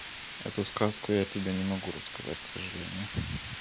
эту сказку я тебя не могу рассказать к сожалению